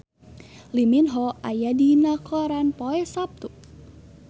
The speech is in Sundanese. Lee Min Ho aya dina koran poe Saptu